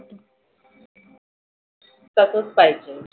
तसच पाहिजे.